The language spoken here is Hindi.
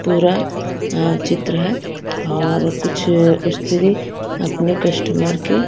पूरा चित्र है और कुछ स्त्री अपने कस्टमर के--